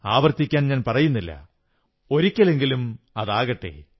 ആവർത്തിക്കാൻ ഞാൻ പറയുന്നില്ല ഒരിക്കലെങ്കിലും അതാകട്ടെ